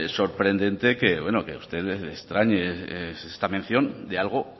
sorprendente que bueno que a usted le extrañe esta mención de algo